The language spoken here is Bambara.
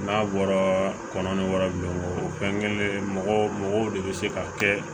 N'a bɔra kɔnɔ ni wari min kɛlen mɔgɔ de bɛ se ka kɛ